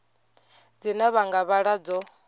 dzine vha nga vhala dzo